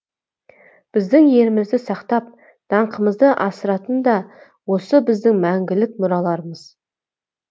біздің елдігімізді сақтап даңқымызды асыратын да осы біздің мәңгілік мұраларымыз